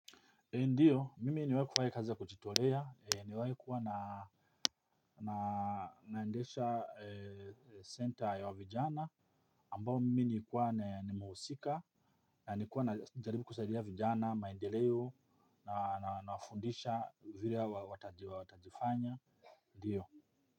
Ndiyo, mimi niwae kufanya kazi ya kuchitolea, niwae kuwa na naendesha center ya wavijana ambao mimi nikuwa ni mausika na nikuwa na jaribi kusaidia vijana, maendeleo, nawafundisha vile watajiwa watajifanya. Ndiyo.